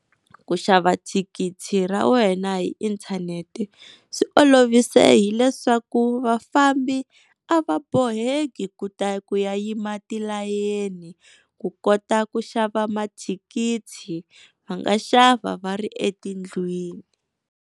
Ku xava thikithi ra wena hi inthanete swi olovise hileswaku vafambi a va boheki ku ta ku yima tilayeni ku kota ku xava mathikithi va nga xava va ri etindlwini.